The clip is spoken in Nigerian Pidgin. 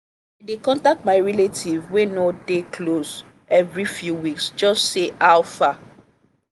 i dey contact my relatives wey no dey close every few weeks just say how fa?